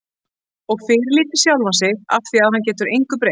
Og fyrirlíti sjálfan sig afþvíað hann getur engu breytt.